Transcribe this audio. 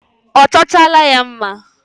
Ọ chọchaala ya mma.